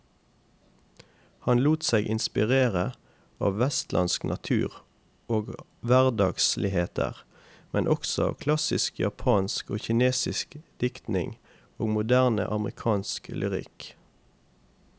Han lot seg inspirere av vestlandsk natur og hverdagsligheter, men også av klassisk japansk og kinesisk diktning og moderne amerikansk lyrikk.